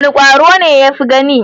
Wane kwaro ne ya fi gani?